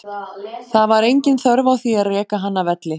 Það var engin þörf á því að reka hann af velli.